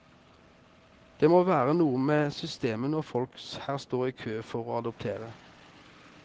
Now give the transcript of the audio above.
Det må være noe med systemet når folk her står i kø for å adoptere.